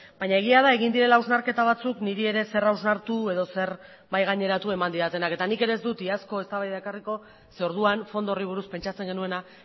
baina egia da egin direla hausnarketa batzuk niri ere zer hausnartu edo zer mahai gaineratu eman didatenak eta nik ere ez dut iazko eztabaida ekarriko ze orduan fondo horri buruz pentsatzen genuena